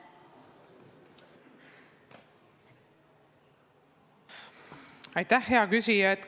Aitäh, hea küsija!